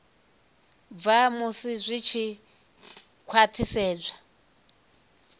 bva musi zwi tshi khwathisedzwa